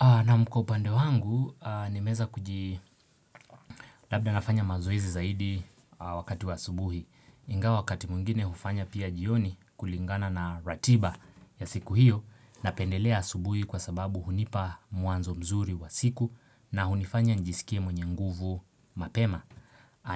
Na'am, kwa upande wangu nimeweza kuji labda nafanya mazoezi zaidi wakati wa asubuhi Ingawa wakati mwingine hufanya pia jioni kulingana na ratiba ya siku hiyo napendelea asubuhi kwa sababu hunipa mwanzo mzuri wa siku na hunifanya nijisikie mwenye nguvu mapema